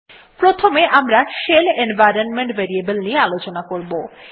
প্রথমে আমরা shell environment variable নিয়ে আলোচনা করবো